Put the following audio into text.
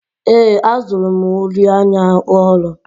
Ee, azụrụ m uri anya ọhụrụ.